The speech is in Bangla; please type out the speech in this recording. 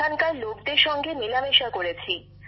সেখানকার লোকদের সঙ্গে মেলামেশা করেছি